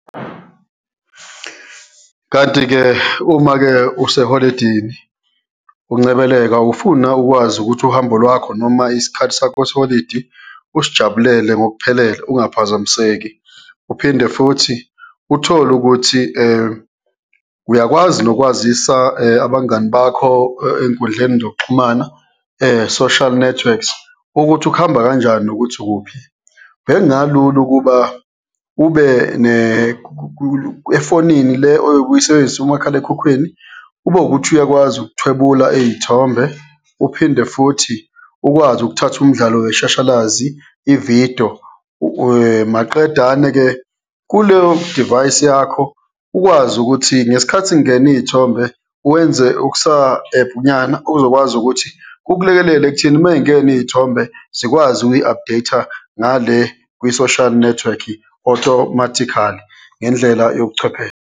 Kanti-ke uma-ke useholidini uncebeleka ufuna ukwazi ukuthi uhambo lwakho noma isikhathi sakho seholidi usijabulele ngokuphelele, ungaphazamiseki uphinde futhi uthole ukuthi uyakwazi nokwazisa abangani bakho ey'nkundleni zokuxhumana social networks ukuthi kuhamba kanjani, ukuthi ukuphi, bekungalula ukuba ube efonini le oyobe uyisebenzisa, umakhalekhukhwini ube ukuthi ukuthi uyakwazi ukuthwebula iy'thombe uphinde futhi ukwazi ukuthatha umdlalo weshashalazi, ividiyo. Maqedane-ke kuleyo divayisi yakho, ukwazi ukuthi ngesikhathi kungena iy'thombe, wenze okusa-app nyana, okuzokwazi ukuthi kukulekelele ekutheni ma zingena iy'thombe zikwazi ukuyi-updatha ngale kwi-social network-i automatically, ngendlela yobuchwepheshe.